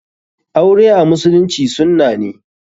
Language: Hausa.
Aure a musulunci sunna ne.